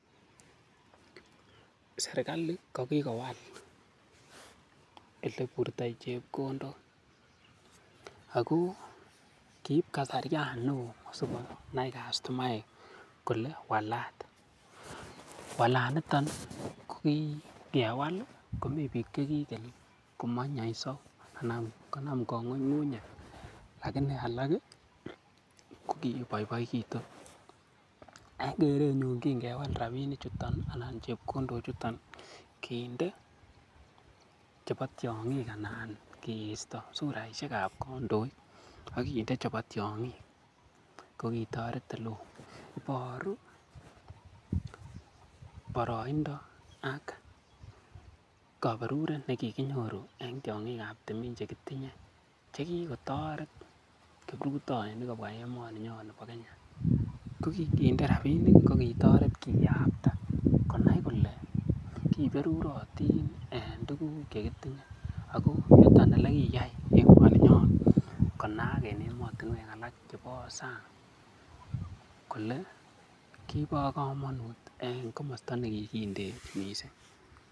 Serkalit ko kigowal ole iburto chepkondok ago, keib kasaryan neo asikonai kastomaek kole walat. Walaniton kogikewal komi biik che kikel komoinyonyso anan konam kang'uing'unyet lakini alak kokigiboiboitu. En keenyun kingwal rabinichuto, kinde chebo tiong'ik anan kiisto suraishekab kondoik ak kinde chebo tiong'ik kogitoret ole oo. Iboru boroindo ak kaberuret nekikinyoru en tiong'ik ab timin che kitinye, che kigotoret kiprutoinik kobwa emoni nyon nibo Kenya. Ko kiginde rabinik kogitoret kiyapta konai kole kiberurotin en tuguk che kitinye. Ago yuto ole kiyai emoninyon konaak en emotinwek alak chebo sang kole kibo komonut en komosto ne kigindeech mising.